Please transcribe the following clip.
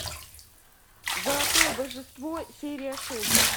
золотое божество серия шесть